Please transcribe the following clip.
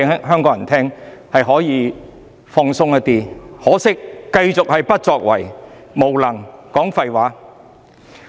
很可惜，政府繼續不作為、無能、"講廢話"。